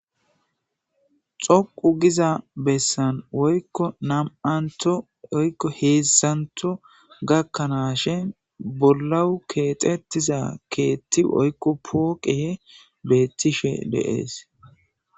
Xoqu giza bessan woykko nam7anto oykko heesantho gakkanaashe bollawu keexetiza keetti oykko pooqe beettishe de7ees.